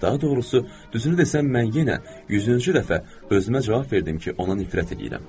Daha doğrusu, düzünü desəm, mən yenə yüzüncü dəfə özümə cavab verdim ki, ona nifrət eləyirəm.